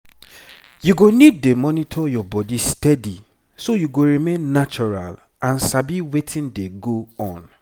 you go need dey monitor your body steady so you go remain natural and sabi wetin dey go on